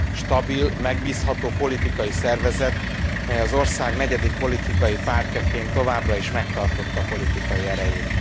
Stabil, megbízható politikai szervezet, mely az ország negyedik politikai pártjaként továbbra is megtartotta politikai erejét.